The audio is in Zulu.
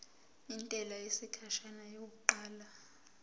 intela yesikhashana yokuqala